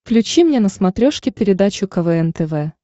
включи мне на смотрешке передачу квн тв